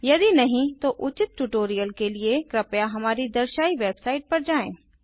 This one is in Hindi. यदि नहीं है तो उचित ट्यूटोरियल के लिए कृपया हमारी दर्शायी वेबसाईट पर जाएँ